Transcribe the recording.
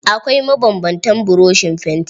Akwai mabanbantan buroshin fanti.